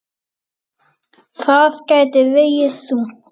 Það gæti vegið þungt.